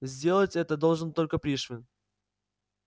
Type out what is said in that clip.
сделать это должен только пришвин